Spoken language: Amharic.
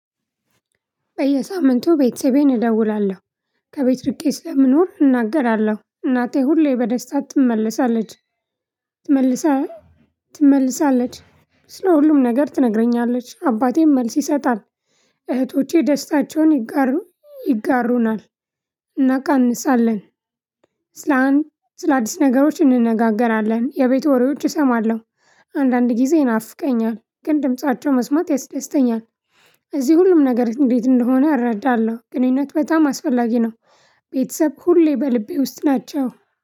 በየሳምንቱ ቤተሰቤን እደውላለሁ ከቤት ርቄ ስለምኖር እናገራለሁ እናቴ ሁሌ በደስታ ትመለሳለች። ትመልሳለች ስለ ሁሉም ነገር ትነግረኛለች አባቴም መልስ ይሰጣል እህቶቼ ደስታቸውን ይጋሩናል እናቀንሳለን። ስለአዲስ ነገሮች እንነጋገራለን የቤት ወሬዎች እሰማለሁ አንዳንድ ጊዜ ይናፍቀኛል ግን ድምፃቸው መስማት ያስደስተኛል። እዚህ ሁሉም ነገር እንዴት እንደሆነ እረዳለሁ ግንኙነት በጣም አስፈላጊ ነው። ቤተሰብ ሁሌ በልቤ ውስጥ ናቸው።